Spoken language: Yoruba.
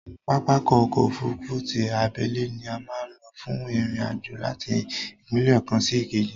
Pápákọ̀ ọ̀kọ òfurufú ti abẹ́lé ni a má ń lò fún ìrìn àjò láti ìpínlẹ̀ kan sí ìkejì